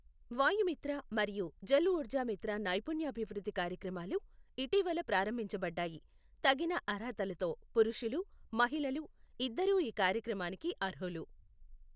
వాయుమిత్ర మరియు జల్ఊర్జామిత్ర నైపుణ్యాభివృద్ధి కార్యక్రమాలు ఇటీవల ప్రారంభించబడ్డాయి, తగిన అర్హతలతో పురుషులు, మహిళలు ఇద్దరూ ఈ కార్యక్రమానికి అర్హులు.